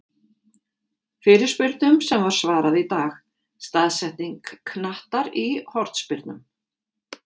Fyrirspurnum sem var svarað í dag:-Staðsetning knattar í hornspyrnum?